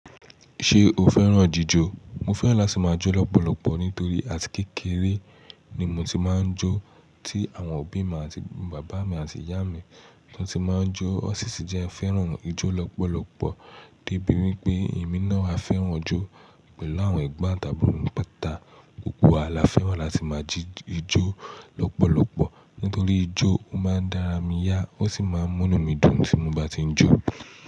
Ṣé o fẹ́ràn jíjò? Mo fẹ́ràn láti máa jó lọ́pọ̀lọ́pọ̀ nítorí àti kékeré ni mo ti máa ń jó, tí àwọn òbí mi àti bàbá mi àti ìyá mi ló ti máa ń jó. Ó sìsì jẹ́ fẹ́ràn ijó lọ́pọ̀lọ́pọ̀ débi wípé èmi náà á fẹ́ràn ijó. Pẹ̀lú àwọn ẹgbà ọ̀tabùn, pátá gbogbo wa la fẹ́ràn láti máa jí jó lọ́pọ̀lọ́pọ̀. Nítorí ijó máa ń dára mí yá ó sì máa ń múni mí dùn tí mo bá ti ń jó.